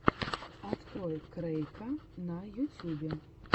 открой крэйка на ютюбе